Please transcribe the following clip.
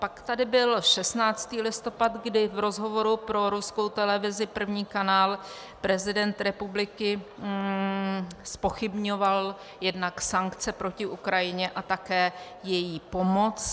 Pak tady byl 16. listopad, kdy v rozhovoru pro ruskou televizi, první kanál, prezident republiky zpochybňoval jednak sankce proti Ukrajině a také její pomoc -